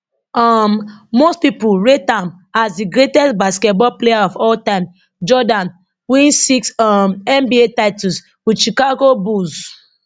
um most pipo rate am as di greatest basketball player of all time jordan win six um nba titles wit chicago bulls